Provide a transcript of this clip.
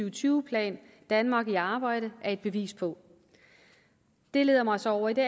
og tyve plan danmark i arbejde er et bevis på det leder mig så over i det